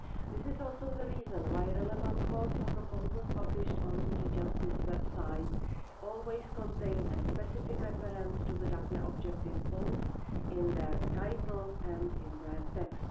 This is also the reason why relevant calls for proposals published on the DG Justice website always contain a specific reference to the Daphne objective, both in their title and in their text.